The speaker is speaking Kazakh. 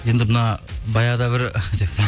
енді мына баяғыда бір